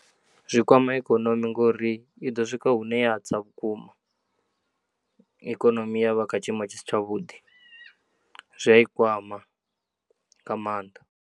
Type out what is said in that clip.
Zwi kwama ikonomi ngori i ḓo swika hune ya tsa vhukuma ikonomi ya vha kha tshiimo tshi si tshavhuḓi zwi a i kwama nga maanḓa.